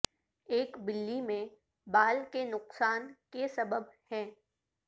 ایک بلی میں بال کے نقصان کے سبب ہیں